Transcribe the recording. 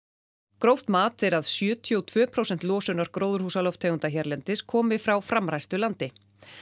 gróft mat er að sjötíu og tvö prósent losunar gróðurhúsalofttegunda hérlendis komi frá framræstu landi